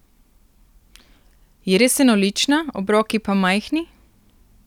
Je res enolična, obroki pa majhni?